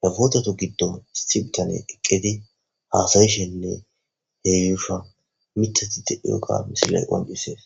he putetu gidon sitan eqid hasa'ishenne eshuwa mitat de'iyoga ha misiley qoncises